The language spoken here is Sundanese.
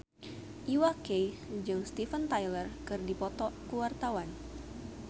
Iwa K jeung Steven Tyler keur dipoto ku wartawan